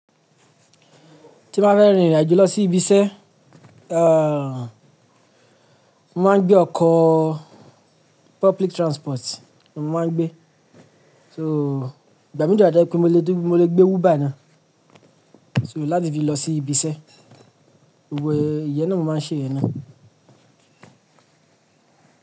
Tí n ba fẹ́ rìn ìrìn àjò lọ sí ibi iṣẹ́, ehhh, mo máa ń gbé ọkọ̀ public transport ni mo máa ń gbé. So, ìgbà mìí de wa to je pé mo lè, mo lè gbé Uber ná. So láti fi lọ sí ibiṣẹ́, wò ó ìyẹn ni mo máa ń ṣe ná.